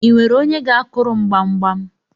I nwere onye ga-akuru m gbamgbam?